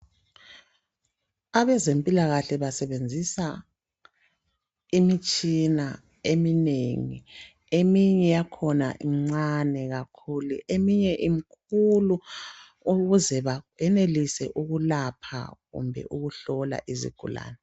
Abezempilo basebenzisa imitshina eminengi. Eminye yakhona imncane kakhulu, eminye imkhulu ukuze beyenelise ukulapha kumbe ukuhlola izigulane.